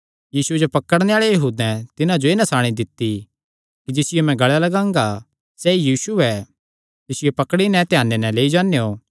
यीशुये जो पकड़ुआणे आल़ैं यहूदैं तिन्हां जो एह़ नसाणी दित्ती कि जिसियो मैं गल़ें लगांगा सैई यीशु ऐ तिसियो पकड़ी नैं ध्याने नैं लेई जान्नेयों